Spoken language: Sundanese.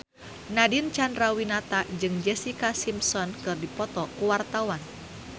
Nadine Chandrawinata jeung Jessica Simpson keur dipoto ku wartawan